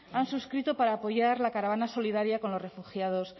han suscrito para apoyar la caravana solidaria con los refugiados